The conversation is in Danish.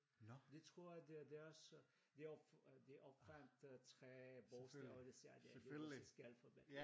De tror at det er deres de opfandt 3 bogstaver de siger det er det russiske alfabet